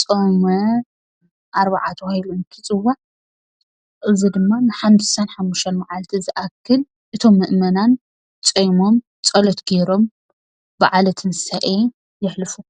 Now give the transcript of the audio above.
ፆመ-ኣርብዓ ተባሂሉ እንትፅዋዕ እዚ ድማ ንሓምሳን ሓሙሽተን መዓልቲ ዝኣክል እቶም ምእመናን ፆይሞም ፀሎት ገይሮም በዓለ ትንሳኤ የሕልፉ፡፡